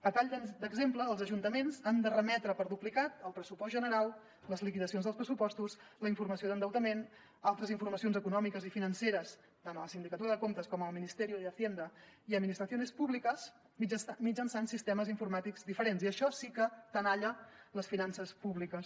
a tall d’exemple els ajuntaments han de remetre per duplicat el pressupost general les liquidacions dels pressupostos la informació d’endeutament altres informacions econòmiques i financeres tant a la sindicatura de comptes com al ministerio de hacienda y administraciones públicas mitjançant sistemes informàtics diferents i això sí que tenalla les finances públiques